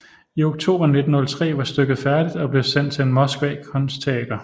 I oktober 1903 var stykket færdigt og blev sendt til Moskva Kunst Teater